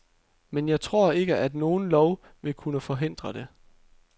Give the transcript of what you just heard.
Men jeg tror ikke, at nogen lov vil kunne forhindre det.